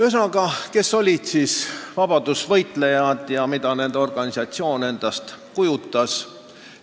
Ühesõnaga, kes siis olid vabadussõjalased ja mida nende organisatsioon endast kujutas?